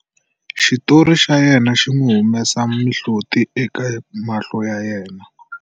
Xitori xa yena xi n'wi humesa mihloti eka mahlo ya yena.